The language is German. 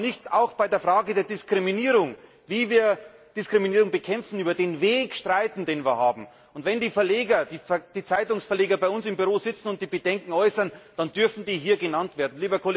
Warum darf man nicht auch bei der Frage der Diskriminierung, wie wir Diskriminierung bekämpfen, über den Weg streiten, den wir gehen wollen? Und wenn die Zeitungsverleger bei uns im Büro sitzen und ihre Bedenken äußern, dann dürfen die hier genannt werden.